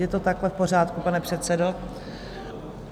Je to takhle v pořádku, pane předsedo?